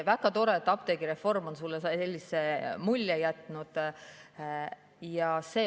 Väga tore, et apteegireform on sulle sellise mulje jätnud.